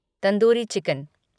tandoori chicken